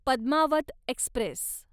Padmaavat Express